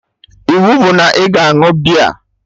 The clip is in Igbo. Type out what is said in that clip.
Iwu bụ na ị ga añụ beer!